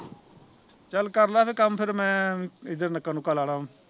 ਚੱਲ ਕਰਲਾ ਫਿਰ ਕੰਮ ਫਿਰ ਮੈਂ ਕਿਤੇ ਨੱਕਾ ਨੁੱਕਾ ਲਾ ਲਾ ਉਹਨੂ